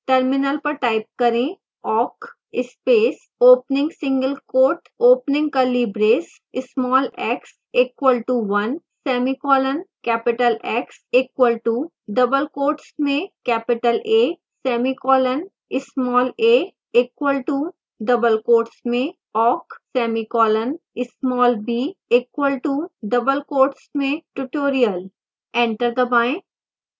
terminal पर type करेंawk space opening single quote opening curly brace small x equal to 1 semicolon capital x equal to double quotes में capital a semicolon small a equal to double quotes में awk semicolon small b equal to double quotes मेंtutorial